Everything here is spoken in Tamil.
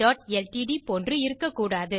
ல்ட்ட் போன்று இருக்க கூடாது